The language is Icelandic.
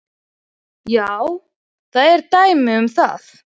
Já, það eru dæmi um það.